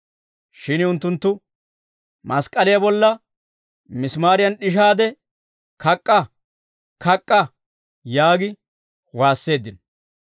Shin unttunttu, «Mask'k'aliyaa bolla misimaariyan d'ishaade kak'k'a! Kak'k'a!» yaagi waasseeddino.